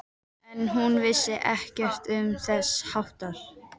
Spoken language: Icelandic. En hún vissi ekkert um þess háttar.